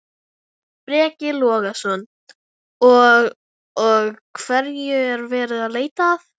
Breki Logason: Og, og hverju er verið að leita að?